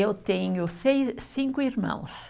Eu tenho seis, cinco irmãos.